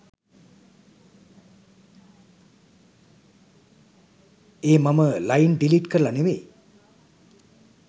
ඒ මම line delete කරල නෙමෙයි